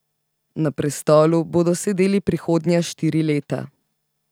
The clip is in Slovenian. Na prestolu bodo sedeli prihodnja štiri leta.